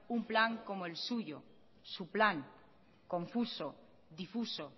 un plan como el suyo su plan confuso difuso